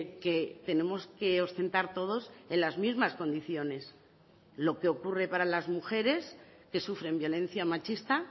que tenemos que ostentar todos en las mismas condiciones lo que ocurre para las mujeres que sufren violencia machista